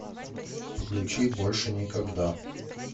включи больше никогда